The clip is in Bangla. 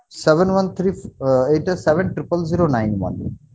seven one trip আহ এইটা seven triple zero nine one